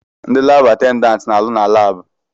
Ndi laabụ atendantị na-arụ na laabụ.